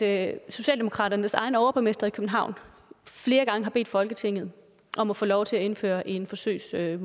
at socialdemokratiets egen overborgmester i københavn flere gange har bedt folketinget om at få lov til at indføre en forsøgsmodel